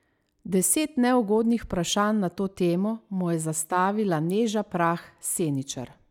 Deset neugodnih vprašanj na to temo mu je zastavila Neža Prah Seničar.